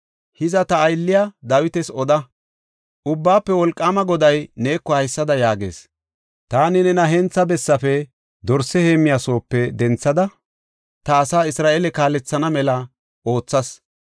“Hiza, ta aylliya Dawitas oda; ‘Ubbaafe Wolqaama Goday neeko haysada yaagees; taani nena hentha bessafe, dorse heemmiya soope denthada ta asaa Isra7eele kaalethana mela oothas.